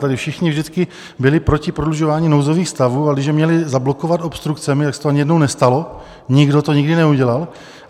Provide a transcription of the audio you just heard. Tady všichni vždycky byli proti prodlužování nouzových stavů, ale když je měli zablokovat obstrukcemi, tak se to ani jednou nestalo, nikdo to nikdy neudělal.